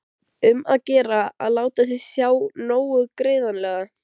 Um að gera að láta sjá sig nógu greinilega!